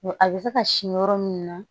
a bɛ se ka sin yɔrɔ min na